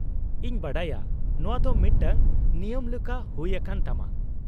-ᱤᱧ ᱵᱟᱰᱟᱭᱟ ᱾ ᱱᱚᱶᱟ ᱫᱚ ᱢᱤᱫᱴᱟᱝ ᱱᱤᱭᱚᱢ ᱞᱮᱠᱟ ᱦᱩᱭ ᱟᱠᱟᱱ ᱛᱟᱢᱟ ᱾